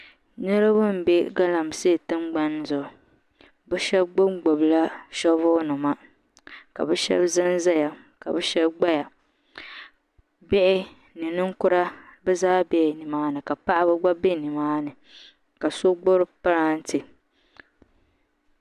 Niraba n bɛ galamsee tingbani gbibu bi shab gbubi gbubi la shoovul nima ka bi shab ʒɛnʒɛya ka bi shab gbaya bihi ni ninkura bi zaa biɛla nimaani ka paɣaba gba bɛ nimaani ka so gbubi pilaantɛ